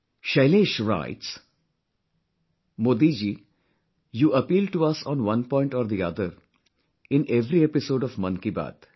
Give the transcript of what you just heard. Shailesh writes, "Modi ji, you appeal to us on one point or the other, in every episode of Mann Ki Baat